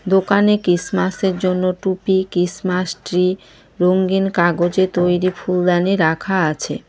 দোকানে কিসমাস -এর জন্য টুপি কিসমাস ট্রি রঙ্গিন কাগজে তৈরি ফুলদানি রাখা আছে।